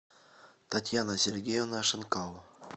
татьяна сергеевна шинкало